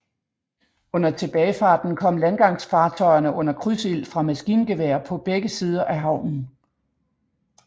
Under tilbagefarten kom landgangsfartøjerne under krydsild fra maskingeværer på begge sider af havnen